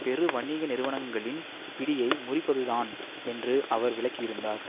பெரு வணிக நிறுவனங்களின் பிடியை முறிப்பது தான் என்று அவர் விளக்கியிருந்தார்